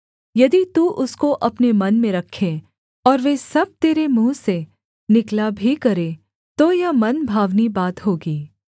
यदि तू उसको अपने मन में रखे और वे सब तेरे मुँह से निकला भी करें तो यह मनभावनी बात होगी